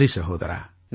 நன்றி சகோதரா